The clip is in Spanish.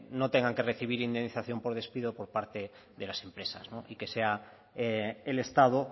no tengan que recibir indemnización por despido por parte de las empresas y que sea el estado